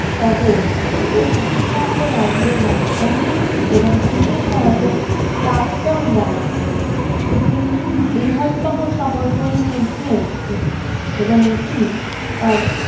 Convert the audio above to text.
শহর পশ্চিমবঙ্গ রাজ্যের রাজধানী এবং ব্রিটিশ ভারতের প্রাক্তন রাজধানী একটি বৃহত্তম শহরগুলির মধ্যে একটি এবং এটি তার